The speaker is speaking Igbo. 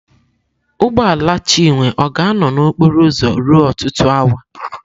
Ụgbọ ala Chinwe ọ ga-anọ na okporo ụzọ ruo ọtụtụ awa?